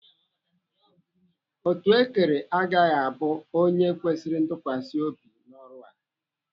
Otuekere agaghị abụ onye kwesịrị ntụkwasị obi n'ọrụ a.